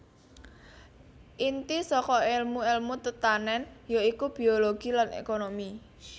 Inti saka èlmu èlmu tetanèn ya iku biologi lan ékonomi